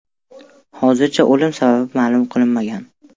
Hozircha o‘lim sababi ma’lum qilinmagan.